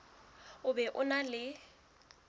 o be o na le